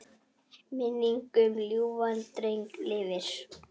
Minning um ljúfan dreng lifir.